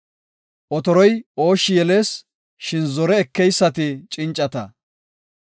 Otoroy ooshshi yelees; shin zore ekeysati cincata.